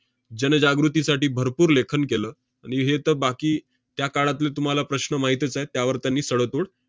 जनजागृतीसाठी भरपूर लेखन केलं. आणि हे तर बाकी त्याकाळातले तुम्हाला प्रश्न माहीतच आहे. त्यावर त्यांनी सडेतोड